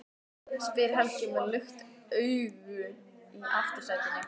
spyr Helgi með lukt augu í aftursætinu.